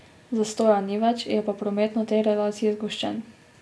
Zastoja ni več, je pa promet na tej relaciji zgoščen.